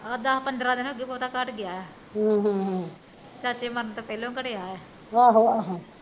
ਆਹ ਦੱਸ ਪੰਦਰਾਂ ਦਿਨ ਹੋ ਗਏ ਘੱਟ ਗਿਆ ਐ ਹਮ ਚਾਚੇ ਵਾਸਤੇ ਪੈਹਲਾ ਹੀਂ ਘਟਿਆ ਆ